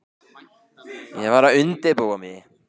Ég var að undirbúa mig.